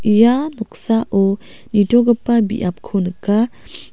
ia noksao nitogipa biapko nika.